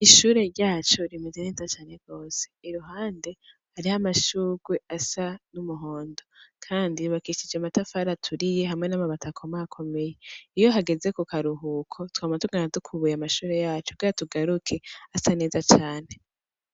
Ishure ryacu rimeze neza cane gose, iruhande hariho amashugwe asa n'umuhondo, kandi yubakishije amatafari aturiye hamwe n'amabati akomakomeye, iyo hageze ku karuhuko twama tugenda dukubuye amashure yacu kugira tugaruke asa neza cane.